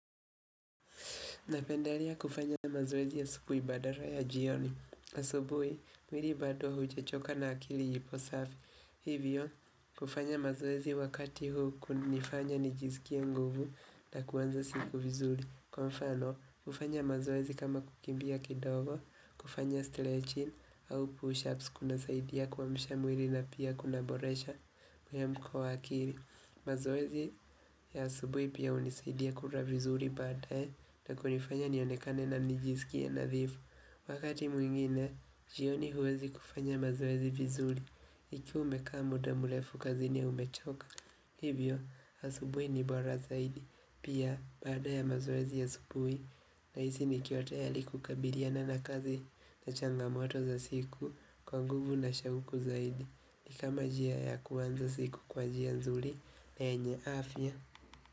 Napendalia kufanya mazoezi ya asubui badala ya jioni. Asubui, mwiri badwa huja choka na akili ipo safi. Hivyo, kufanya mazoezi wakati huu kunifanya nijizikia nguvu na kuwanza siku vizuri. Kwa mfano, kufanya mazoezi kama kukimbia kidogo, kufanya stretching au push-ups kuna saidia kwa mshamwiri na pia kunaboresha mwemko wa akili. Mazoezi ya asubui pia unisaidia kura vizuri baada ya na kunifanya nionekane na mnijisiki ya nadhifu Wakati mwingine, jioni huwezi kufanya mazoezi vizuri Iki umekamu damulefu kazi ni umechoka Hivyo, asubui nibora zaidi Pia, baada ya mazoezi ya asubui na hizi nikiotaya liku kabiriana na kazi na changamoto za siku Kwa nguvu na shawuku zaidi ikama jia ya kuwanzas iku kwa jian zuli enye afia.